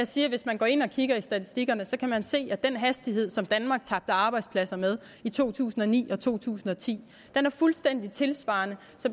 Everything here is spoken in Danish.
sige at hvis man går ind og kigger i statistikkerne kan man se at den hastighed som danmark tabte arbejdspladser med i to tusind og ni og to tusind og ti er fuldstændig tilsvarende